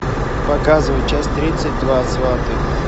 показывай часть тридцать два сваты